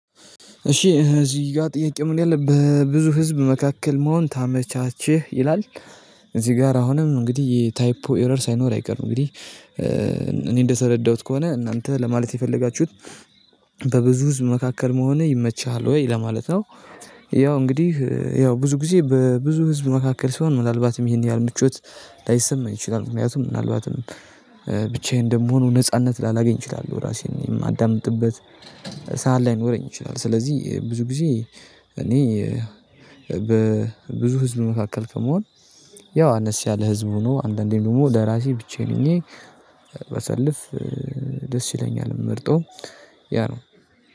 እሺ እዚህ ጋር ጥያቄ ምን ያለ በብዙ ህዝብ መካከል መሆን ታመቻቸው ይላል። እዚህ ጋር አሁንም እንግዲህ ታይፖ ኤረር ሳይኖር አይቀርም እንግዲህ። እኔ እንደሰረዳሁት ከሆነ እናንተ ለማለት የፈለጋችሁት? በብዙ ህዝብ መካከል መሆኔ ይመችሃል ወይ ለማለት ነው? ያው እንግዲህ ያው ብዙ ጊዜ በብዙ ህዝብ መካከል ሲሆን ምናልባትም ይሄን ያህል ምቾት ላይሰማኝ ይችላል። ምክንያቱም ምናልባትም ብቻዬን እንደምሆነው ነጻነት ላላገኝ እችላለሁ ራሴን የማዳምጥበት ሰዓት ላይኖረኝ ይችላል። ስለዚህ ብዙ ጊዜ እኔ በብዙ ህዝብ መካከል ከመሆን ያው አነስ ያለ ህዝቡ ነው አንዳንዴ ደግሞ ለራሴ ብቻዬን ሆኜ ባሳልፍ። ደስ ይለኛል መርጦ ያ ነው።